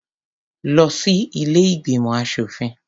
Lọ sí ilé ìgbìmọ̀ aṣòfin.